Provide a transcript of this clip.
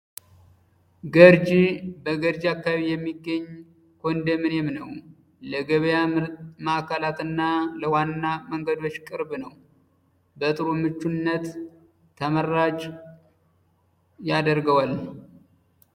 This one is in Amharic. ገርጂ በግውርጅ አካባቢ የሚገኝ ኮንደምኘም ነው። ለገበያ ማዕከላትና ለዋና መንገዶች ቅርብ ነው። በጥሩ ምቹነት ተመራጭ ያደርገዋል።